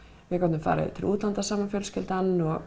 við gátum farið til útlanda saman fjölskyldan og